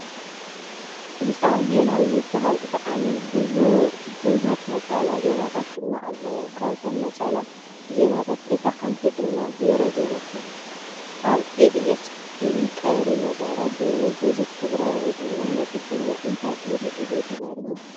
ድምፃሚ ዜናዊ ይባሃል ብጣዐሚ ቡሕ ነፀላ ዜማታት ድማ ኣለዎ ። ካብተን ነፀላ ዜማታት እታ ሓንቲ ድማ ዜሮ ዜሮ ትብል ? ኣብ ኢቢኤስ ቲቪ ቀሪ መደረ ገይሩ ብዙሕ ትግራዋይ ድማ ነቂፍዎ እንታይ ኢሉ እዩ ተዛሪቡ ?